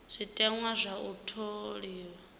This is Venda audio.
zwiteṅwa zwa u tholiwa zwi